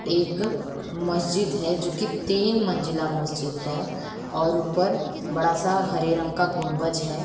एक मस्जिद है जोकी तीन मंजिला मस्जिद है और ऊपर बड़ा स हरे रंग का गुंबज है।